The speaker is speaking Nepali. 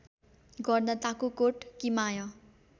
गर्दा ताकुकोट कि माय